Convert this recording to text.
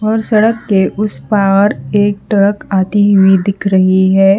और सड़क के उस पार एक ट्रक आती हुई दिख रही है।